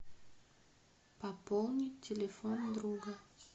пополнить телефон друга